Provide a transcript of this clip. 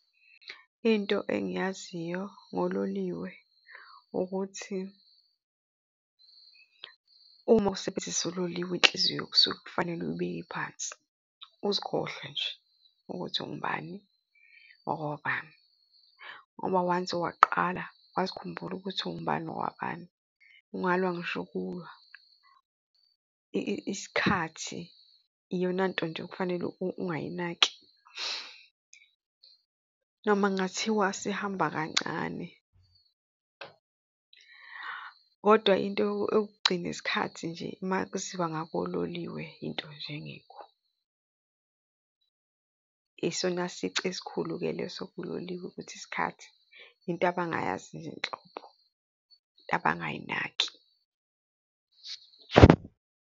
Into engiyaziyo ngololiwe ukuthi uma usebenzisa uloliwe inhliziyo kusuka kufanele uyibeke iphansi uzikhohlwea nje ukuthi ungubani wakwabani ngoba once waqala, wazikhumbule ukuthi ungubani wabani, ungalwa ngisho ukulwa. Isikhathi iyona nto nje ekufanele ungayinaki noma kungathiwa sihamba kancane, kodwa into yokugcina isikhathi nje uma kuziwa ngakololiwe into nje engekho. Isona sici esikhulu-ke leso kuloliwe ukuthi isikhathi into abangayazinhlobo, into abangayinaki.